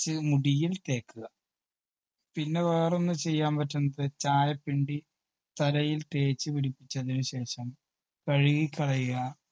ച്ച് മുടിയിൽ തേയ്ക്കുക. പിന്നെ വേറൊന്ന് ചെയ്യാൻ പറ്റുന്നത് ചായപിണ്ടി തലയിൽ തേച്ച് പിടിപ്പിച്ചതിന് ശേഷം കഴുകി കളയുക.